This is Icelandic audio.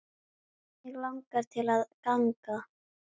Mig langaði til að ganga